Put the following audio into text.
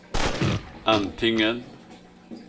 antingen